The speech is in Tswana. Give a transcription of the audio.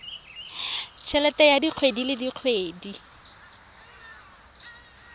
helete ya kgwedi le kgwedi